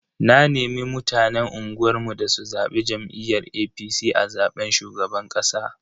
Na nemi mutanen unguwar mu da su zabi jam'iyyar APC a zaben shugaban kasa.